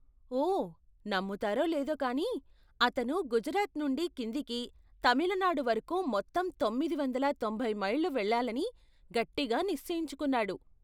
ఓ, నమ్ముతారో లేదో కానీ, అతను గుజరాత్ నుండి కిందికి తమిళనాడు వరకు మొత్తంతొమ్మిది వందల తొంభై మైళ్ళు వెళ్లాలని గట్టిగా నిశ్చయించుకున్నాడు.